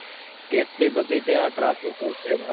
કેટલી બધી ત્યાં traffic હોય છે વાત